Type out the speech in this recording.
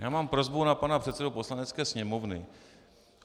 Já mám prosbu na pana předsedu Poslanecké sněmovny.